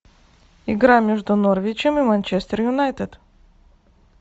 игра между норвичем и манчестер юнайтед